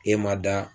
E ma da